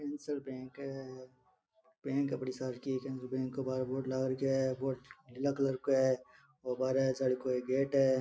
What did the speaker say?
एक बैंक है बड़ी सी केनरा बैंक का बाहर बोर्ड लगा रखा है बैंक नीले कलर की है और बाहर जली को एक गेट है।